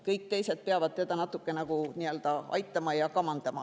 Kõik teised peavad teda natuke nagu aitama ja kamandama.